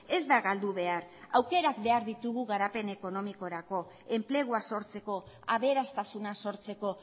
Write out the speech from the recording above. ez da galdu behar aukerak behar ditugu garapen ekonomikorako enplegua sortzeko aberastasuna sortzeko